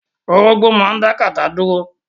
Orógbo máa dá kátà dúró.